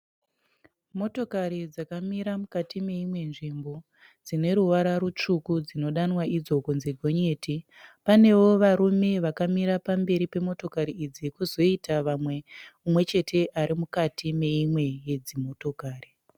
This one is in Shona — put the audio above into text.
Motokari dzakamira mukati meimwe nzvimbo, dzineruvara rutsvuku, dzinodanwa idzo kunzi gonyeti. Panewo varume vakamira pamberi pemotokari idzi, kozoita vamwe, mumwechete ari mukati meimwe yedzimotokati.